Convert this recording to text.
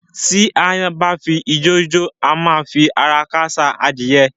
Tí aáyán bá ṣi ijó jó, á máa fi ara káṣá adìyẹ.